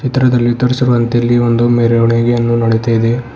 ಚಿತ್ರದಲ್ಲಿ ತೋರಿಸಿರುವಂತೆ ಇಲ್ಲಿ ಒಂದು ಮೆರವಣಿಗೆಯನ್ನು ನಡಿತಾ ಇದೆ.